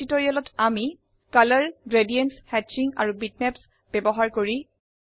এই টিউটোৰিয়ালটিতে আমি শিকিছো ৰং গ্ৰেডিয়েন্ট হ্যাচিং আৰু বিটম্যাপ ব্যবহাৰ কৰো